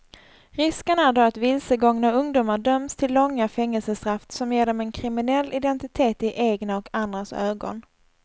Risken är då att vilsegångna ungdomar döms till långa fängelsestraff som ger dem en kriminell identitet i egna och andras ögon.